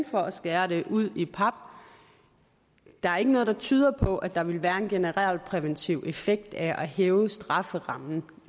for at skære det ud i pap der er ikke noget der tyder på at der vil være en generel præventiv effekt af at hæve strafferammen